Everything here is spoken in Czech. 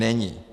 Není.